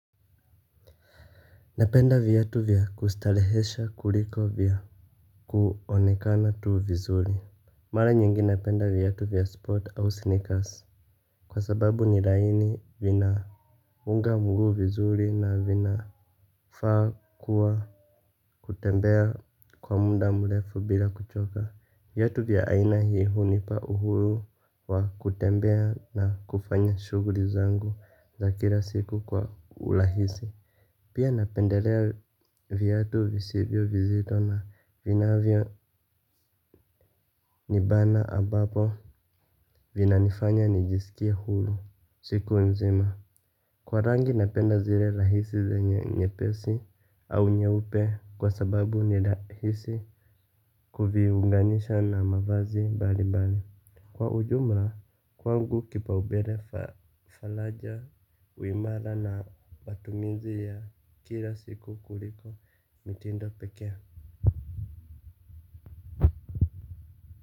Napenda viatu vya kustarehesha kuliko vya kuonekana tu vizuri. Mara nyingi napenda viatu vya sport au sneakers kwa sababu ni laini, vinafunga mguu vizuri na vinafaa kuwa. Kutembea kwa muda mrefu bila kuchoka. Viatu vya aina hii hunipa uhuru wa kutembea na kufanya shughuli zangu za kila siku kwa urahisi. Pia napendelea viatu visivyo vizito na visivyonibana, ambapo vinanifanya nijisikie huru siku nzima. Kwa rangi napenda zile rahisi zenye nyepesi au nyeupe kwa sababu ni rahisi kuviunganisha na mavazi mbalimbali. Kwa ujumla, kwangu kipao mbele falaja, uimara na matumizi ya kila siku kuliko, mitindo pekee.